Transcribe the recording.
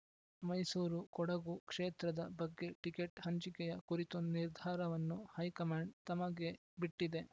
ಮೈಸೂರು ಕೊಡಗು ಕ್ಷೇತ್ರದ ಬಗ್ಗೆ ಟಿಕೆಟ್ ಹಂಚಿಕೆಯ ಕುರಿತು ನಿರ್ಧಾರವನ್ನು ಹೈಕಮಾಂಡ್ ತಮಗೆ ಬಿಟ್ಟಿದೆ